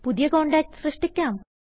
പുതിയ കോണ്ടാക്റ്റ് സൃഷ്ടിക്കാം